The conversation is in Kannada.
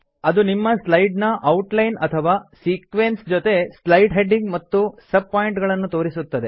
ಅದು ನಿಮ್ಮ ಸ್ಲೈಡ್ ನ ಔಟ್ ಲೈನ್ ಅಥವಾ ಸೀಕ್ವೆನ್ಸ್ ಜೊತೆಗೆ ಸ್ಲೈಡ್ ಹೆಡಿಂಗ್ ಮತ್ತು ಸಬ್ ಪಾಯಿಂಟ್ ಗಳನ್ನು ತೋರಿಸುತ್ತದೆ